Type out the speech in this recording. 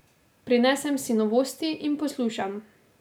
Prinesem si novosti in poslušam.